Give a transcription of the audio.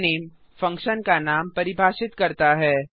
fun name function का नाम परिभाषित करता है